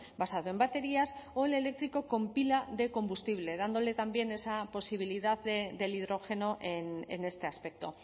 basado en baterías o el eléctrico con pila de combustible dándole también esa posibilidad del hidrógeno en este aspecto